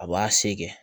A b'a se kɛ